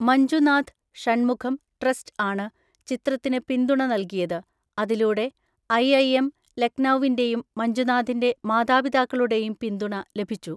Manjunath Shanmugham trust ആണ് ചിത്രത്തിന് പിന്തുണ നൽകിയത്, അതിലൂടെ ഐ. ഐ. എം ലക്നൌവിൻറെയും മഞ്ജുനാഥിൻറെ മാതാപിതാക്കളുടെയും പിന്തുണ ലഭിച്ചു.